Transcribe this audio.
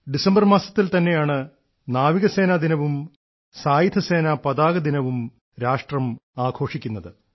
ഡിസംബറിൽ തന്നെയാണ് നാവികസേനാ ദിനവും സായുധസേനാ പതാകദിനവും രാഷ്ട്രം ആഘോഷിക്കുന്നത്